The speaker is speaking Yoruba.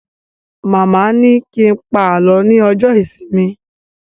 Màmá ni kí n pa alọ ní ọjọ ìsinmi